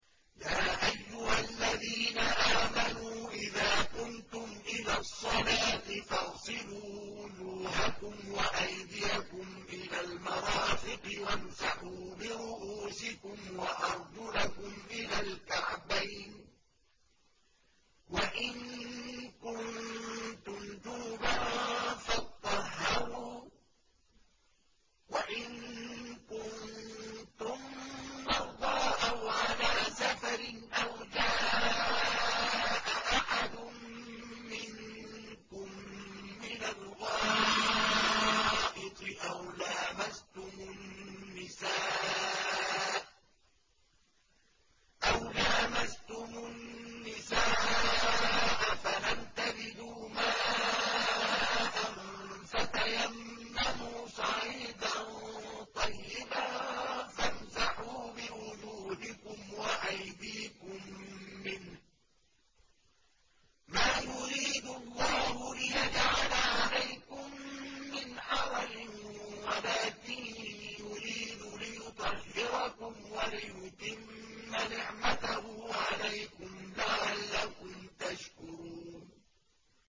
يَا أَيُّهَا الَّذِينَ آمَنُوا إِذَا قُمْتُمْ إِلَى الصَّلَاةِ فَاغْسِلُوا وُجُوهَكُمْ وَأَيْدِيَكُمْ إِلَى الْمَرَافِقِ وَامْسَحُوا بِرُءُوسِكُمْ وَأَرْجُلَكُمْ إِلَى الْكَعْبَيْنِ ۚ وَإِن كُنتُمْ جُنُبًا فَاطَّهَّرُوا ۚ وَإِن كُنتُم مَّرْضَىٰ أَوْ عَلَىٰ سَفَرٍ أَوْ جَاءَ أَحَدٌ مِّنكُم مِّنَ الْغَائِطِ أَوْ لَامَسْتُمُ النِّسَاءَ فَلَمْ تَجِدُوا مَاءً فَتَيَمَّمُوا صَعِيدًا طَيِّبًا فَامْسَحُوا بِوُجُوهِكُمْ وَأَيْدِيكُم مِّنْهُ ۚ مَا يُرِيدُ اللَّهُ لِيَجْعَلَ عَلَيْكُم مِّنْ حَرَجٍ وَلَٰكِن يُرِيدُ لِيُطَهِّرَكُمْ وَلِيُتِمَّ نِعْمَتَهُ عَلَيْكُمْ لَعَلَّكُمْ تَشْكُرُونَ